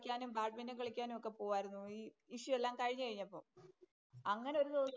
കളിക്കാനും ബാഡ്മിന്‍റണ്‍ കളിക്കാനും ഒക്കെ പോകുവാരുന്നു ഈ ഇഷ്യൂ എല്ലാം കഴിഞ്ഞു കഴിഞ്ഞപ്പം അങ്ങനെ ഒരുദിവസം